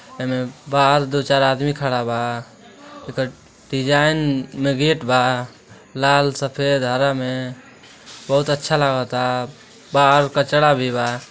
एमे बाहर दो चार आदमी खड़ा बा। एकर डिजायन में गेट बा। लाल सफ़ेद हरा में बहुत अच्छा लागता। बाहर कचरा भी बा।